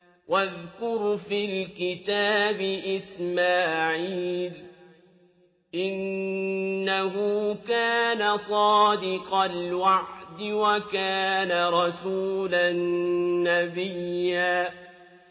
وَاذْكُرْ فِي الْكِتَابِ إِسْمَاعِيلَ ۚ إِنَّهُ كَانَ صَادِقَ الْوَعْدِ وَكَانَ رَسُولًا نَّبِيًّا